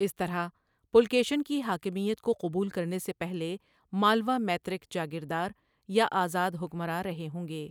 اس طرح، پُلکیشن کی حاکمیت کو قبول کرنے سے پہلے مالوا مَیترک جاگیردار یا آزاد حکمران رہے ہوں گے۔